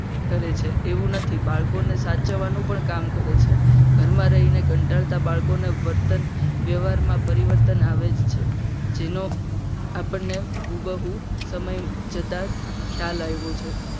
કરે છે એવું નથી બાળકોને સાચવવાનું પણ કામ કરે છે. ઘરમાં રહીને કરતાતા બાળકોને કંટાળા બાળકોને વર્તન વ્યવહારમાં પરિવર્તન આવે જ છે. જેનો આપણને હું બહુ સમય જતા ખ્યાલ આવ્યો છે.